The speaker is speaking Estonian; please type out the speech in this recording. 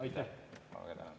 Aitäh!